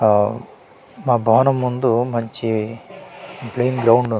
ఆ మా భవనం ముందు మంచి ప్లెయిన్ గ్రౌండ్ ఉం--